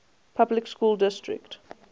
public school district